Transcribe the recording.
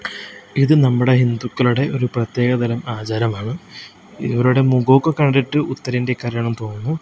ഇത് നമ്മുടെ ഹിന്ദുക്കളുടെ ഒരു പ്രത്യേകതരം ആചാരമാണ് ഇവരുടെ മുഖമൊക്കെ കണ്ടിട്ട് ഉത്തരേന്ത്യക്കാരാണ് എന്ന് തോന്നുന്നു.